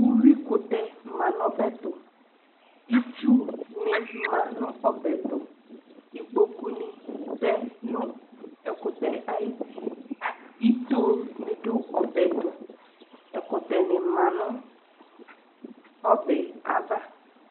Uyuikʋtɛ ma nʋ ɔbɛ tʋ Itsunɩ ma nʋ ɔbɛ yɛ tʋ Ikpokunɩ tɛ nʋ ɛkʋtɛ yɛ ayuti Itonɩ dʋ ɔbɛ yɛ tʋ Ɛkʋtɛnɩ ma nʋ ɔbɛ yɛ ava